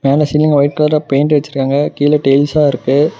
மேல சீலிங்ல ஒய்ட் கலர்ல பெய்ண்ட் அடிச்ருக்காங்க கீழ டைல்ஸா இருக்கு.